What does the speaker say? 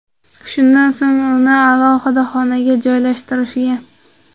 Shundan so‘ng uni alohida xonaga joylashtirishgan.